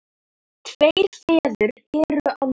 Tveir feður eru á lífi.